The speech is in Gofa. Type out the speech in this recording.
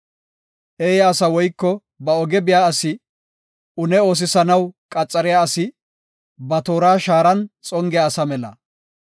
Eeya asa woyko ba oge biya asi une oosisanaw qaxariya asi ba toora shaaran xongiya asa mela.